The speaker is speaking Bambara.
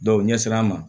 u ɲɛ sera an ma